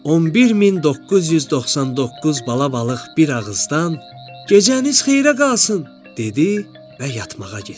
11999 bala balıq bir ağızdan “Gecəniz xeyrə qalsın!” dedi və yatmağa getdi.